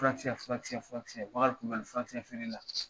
Furakisɛ furakisɛ furakisɛ Bakari Culubali furakisɛ feere la.